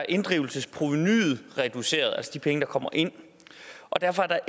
inddrivelsesprovenuet er reduceret altså de penge der kommer ind og derfor er der